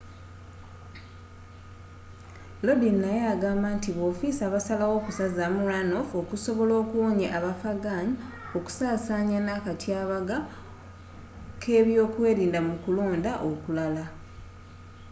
lodin naye yagamba nti b'ofiisa basalawo okusazaamu runoff okusobola okuwonya abafghan okusasaanya na akatyabaga k'ebyokwelinda mu kulonda okulala